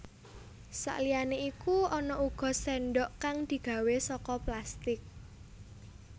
Saliyané iku ana uga séndhok kang digawé saka plastik